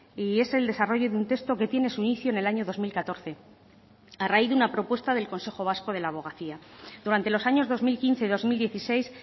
y es el desarrollo de un texto que tiene su inicio en el año dos mil catorce a raíz de una propuesta del consejo vasco de la abogacía durante los años dos mil quince dos mil dieciséis